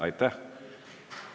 Aitäh!